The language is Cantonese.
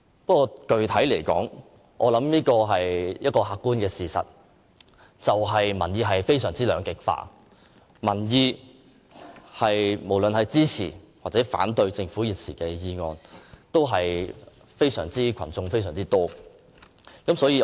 不過，具體而言，客觀的事實是，民意非常兩極化，無論是支持抑或反對政府現時的議案的市民均為數甚多。